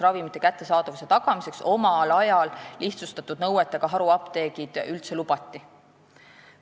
Maal ravimite kättesaadavuse tagamiseks lihtsustatud nõuetega haruapteegid omal ajal üldse lubati.